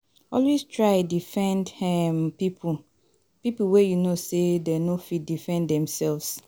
Always try defend um pipo pipo wey you know say dem no fit defend dimselves